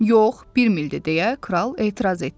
Yox, bir mildir deyə kral etiraz etdi.